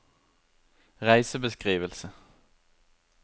reisebeskrivelse